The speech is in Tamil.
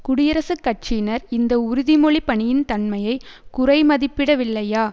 குடியரசுக் கட்சியினர் இந்த உறுதிமொழி பணியின் தன்மையை குறைமதிப்பிடவில்லையா